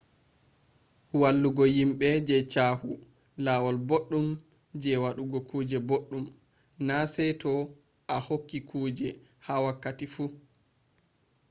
wallugo yimbe je caahu lawol boɗɗum je waɗugo kuje boɗɗum na sey to a hokki kuje ha wakkati fu